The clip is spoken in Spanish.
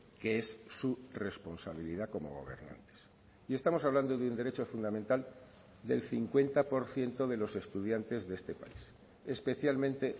que es su responsabilidad como gobernantes y estamos hablando de un derecho fundamental del cincuenta por ciento de los estudiantes de este país especialmente